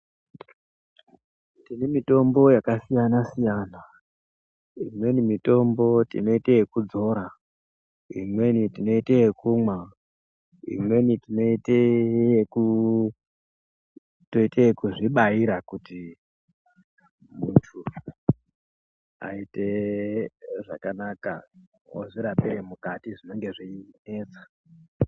Tine mitombo yakasiyana siyana ,imweni mitombo tinoite yekudzora , imweni tinoite yekumwa imweni tinoitee yeku toitekuzvibaira kuti muntu aite zvakanaka ozvirapire mukati zvinenge zveinesa.